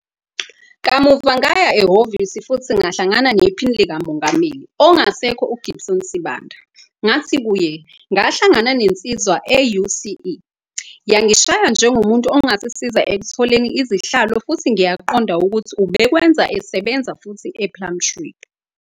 Kamuva ngaya ehhovisi futhi ngahlangana nePhini likaMongameli, ongasekho uGibson Sibanda, ngathi kuye 'Ngahlangana nensizwa e-UCE yangishaya njengomuntu ongasisiza ekutholeni izihlalo futhi ngiyaqonda ukuthi ubekwenza sebenza futhi ePlumtree.